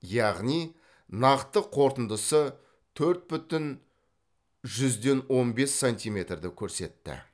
яғни нақты қорытындысы төрт бүтін жүзден он бес сантиметрді көрсетті